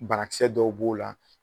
Banakisɛ dɔw b'o la